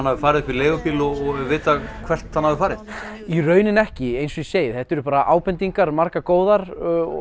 hafi farið upp í leigubíl og er vitað hvert hann hafi farið í rauninni ekki eins og ég segi þetta eru bara ábendingar margar góðar